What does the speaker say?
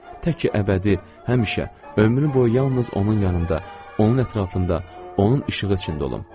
Tək ki, əbədi, həmişə ömür boyu yalnız onun yanında, onun ətrafında, onun işığı içində olum.